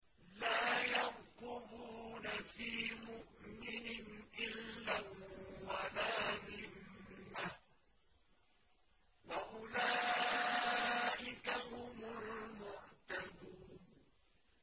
لَا يَرْقُبُونَ فِي مُؤْمِنٍ إِلًّا وَلَا ذِمَّةً ۚ وَأُولَٰئِكَ هُمُ الْمُعْتَدُونَ